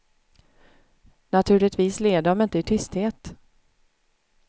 Naturligtvis led de inte i tysthet.